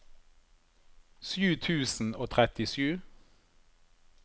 sju tusen og trettisju